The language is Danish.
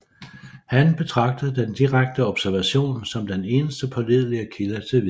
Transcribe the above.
Han betragtede den direkte observation som den eneste pålidelige kilde til viden